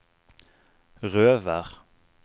Røvær